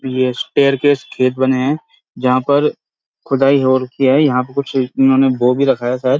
ये staircase खेत बने हैं जहाँ पर खुदाई हो रखी है यहाँ पे कुछ उन्होंने बो भी रखा है शायद।